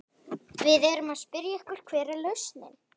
Við erum að spyrja ykkur, hver er lausnin?